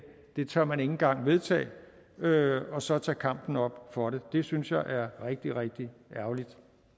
tør man ikke engang vedtage og så tage kampen op for det det synes jeg er rigtig rigtig ærgerligt